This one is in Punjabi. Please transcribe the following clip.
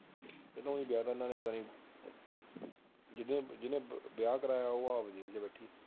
ਇਹ ਤਾਂ ਇਉਂ ਵਿਆਹ ਤਾਂ ਇਹਨਾਂ ਨੇ ਜਿਨੇ ਵਿਆਹ ਕਰਾਇਆ ਉਹ ਆਪ ਲੈ ਕੇ ਬੈਠੀ